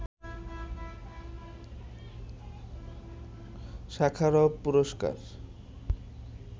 Sakharov পুরস্কার